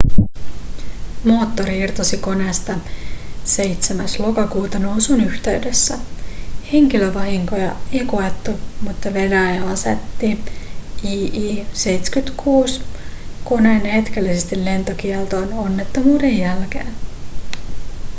moottori irtosi koneesta 7. lokakuuta nousun yhteydessä. henkilövahinkoja ei koettu mutta venäjä asetti il-76-koneet hetkellisesti lentokieltoon onnettomuuden jälkeen